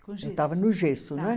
Eu estava no gesso, né?